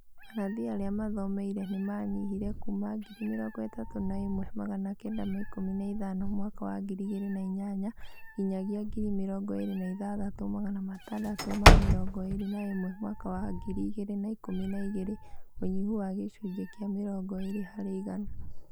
Manathi arĩa mathomeire n ĩ manyihire kuuma 31915 mwaka wa 2008 nginyagia 26621 mwaka wa 2012 ũnyihu wa gĩcunjĩ kĩa mĩrongo ĩĩrĩ harĩ igana